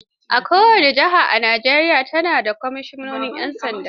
Kowace jiha a Najeriya ta na da kwamisinan 'yan sanda.